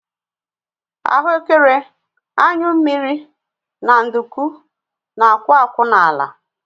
Ahuekere, anyụ mmiri na nduku na-akwụ akwụ n'ala